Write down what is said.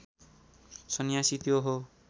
सन्यासी त्यो हो